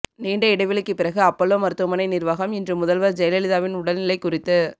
நீண்ட இடைவெளிக்கு பிறகு அப்பல்லோ மருத்துவமனை நிர்வாகம் இன்று முதல்வர் ஜெயலலிதாவின் உடல்நிலை குறித்து